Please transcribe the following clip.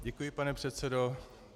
Děkuji, pane předsedo.